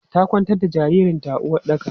Ta kwantar da jaririn ta a uwaɗɗaka.